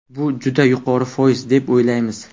Bu juda yuqori foiz, deb o‘ylaymiz.